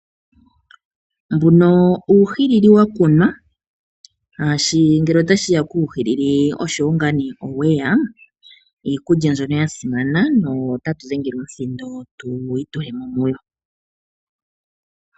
Uuhili wakunwa shaashi ngele otashiya kuuhilili oshowo ngaa nee oweya iikulya mbyono yasimana no tatu dhenge omuthindo tu itulemo muyo.